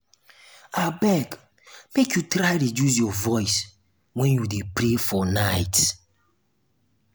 abeg make you try reduce your voice wen you dey pray for night.